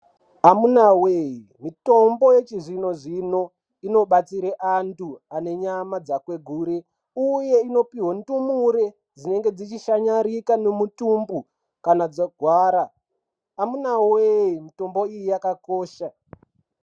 Amunaa wee mutombo yechizvino zvino inobatsire antu ane nyama dzakwegure uye inopuhwe ndumure dzinenge dzichishanyarika nemutumbu kana dzarwara amunaa wee mutombo iyi yakakosha.